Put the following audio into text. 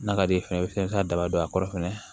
N'a ka d'i ye fɛnɛ i bɛ se ka daba don a kɔrɔ fɛnɛ